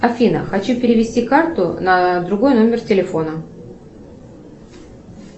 афина хочу перевести карту на другой номер телефона